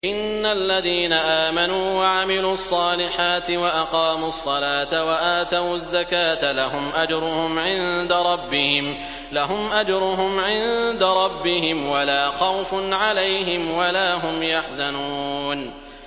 إِنَّ الَّذِينَ آمَنُوا وَعَمِلُوا الصَّالِحَاتِ وَأَقَامُوا الصَّلَاةَ وَآتَوُا الزَّكَاةَ لَهُمْ أَجْرُهُمْ عِندَ رَبِّهِمْ وَلَا خَوْفٌ عَلَيْهِمْ وَلَا هُمْ يَحْزَنُونَ